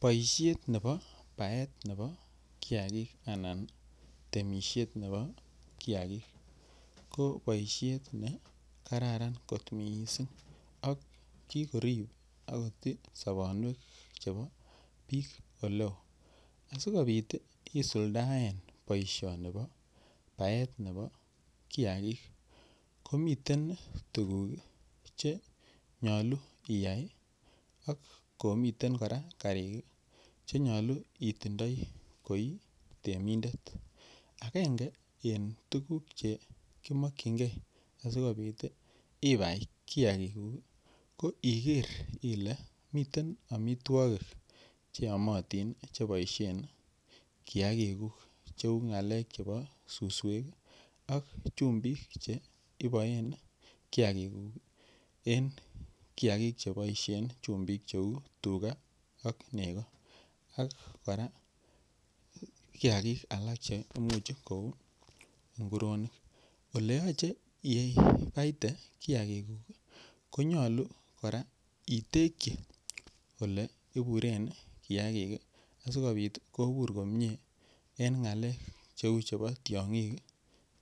Boisiet nebo baet nebo kiagik anan temisiet nebo kiagik ko boisiet nekaran kot mising nekikorib ak kotii sobonwekab bik oleo asi kobit isuldoen boisioni bo baet nebo kiagik komiten tuguk Che nyolu Iyai ak komiten kora karik Che nyolu itindoi koi temindet agenge en tuguk Che ki mokyingei ge asikobit ibai kiagikuk ko iker ile miten amitwogik Che yomotin ii Che boisien kiagikuk cheu ngalek chebo suswek ak chumbik Che iboen ii kiagikuk en kiagik Che boisien chumbik kou tuga ak nego ak kora kiagik alak Che Imuch ko u nguronik Ole yoche iripte kiagikuk ko nyolu kora itekyi Ole iburen kiagik en ngalek cheu chebo tiongik